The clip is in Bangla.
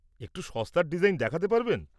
একটু সস্তার ডিজাইন দেখাতে পারবেন?